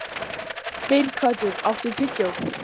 Geirhvatur, áttu tyggjó?